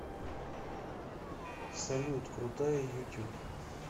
салют крутая ютуб